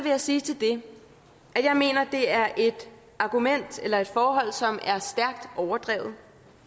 jeg sige til det at jeg mener at det er et argument eller et forhold som er stærkt overdrevet